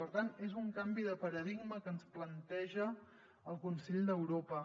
per tant és un canvi de paradigma que ens planteja el consell d’europa